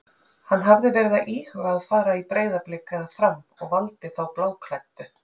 Hann hafði verið að íhuga að fara í Breiðablik eða Fram og valdi þá bláklæddu.